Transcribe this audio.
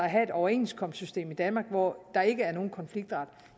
have et overenskomstsystem i danmark hvor der ikke er nogen konfliktret